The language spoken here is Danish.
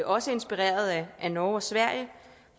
også inspireret af norge og sverige